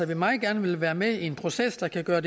vi meget gerne vil være med i en proces der kan gøre